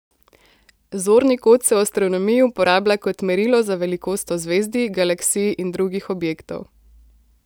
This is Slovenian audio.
Zorni kot se v astronomiji uporablja kot merilo za velikost ozvezdij, galaksij in drugih objektov.